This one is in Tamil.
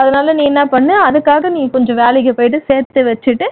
அதனால நீ என்ன பண்ணு அதுக்காக நீ கொஞ்சம் வேலைக்கு போயிட்டு அதுக்காக சேர்த்து வச்சிட்டு